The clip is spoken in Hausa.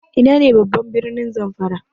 Ina ne ne babban birnin Zamfara?